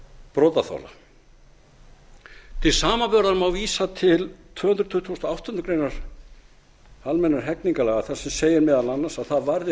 brotaþola til samanburðar má vísa til tvö hundruð tuttugustu og áttunda almennra hegningarlaga þar sem segir meðal annars að það varði